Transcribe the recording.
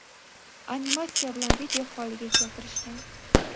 animatsiya bilan video holiga keltirishgan.